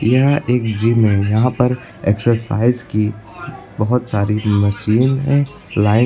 यह एक जिम है यहां पर एक्सरसाइज की बहोत सारी मशीन हैं लाइन --